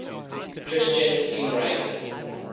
christian hymnwriters